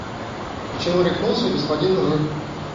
почему рехнулся господин р